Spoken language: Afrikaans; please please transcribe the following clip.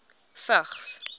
vigs